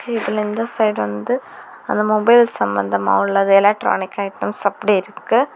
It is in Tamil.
இதுல இந்த சைட் வந்து அந்த மொபைல் சம்பந்தமா உள்ளது எலெக்ட்ரானிக்ஸ் ஐட்டம்ஸ் அப்படி இருக்கு.